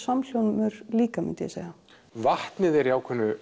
samhljómur líka vatnið er í